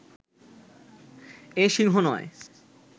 এ সিংহ নয়